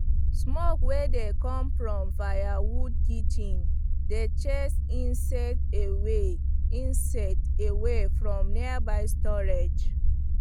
smoke wey dey come from firewood kitchen dey chase insect away insect away from nearby storage